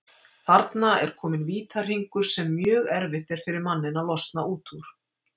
Þarna er kominn vítahringur sem mjög erfitt er fyrir manninn að losna út úr.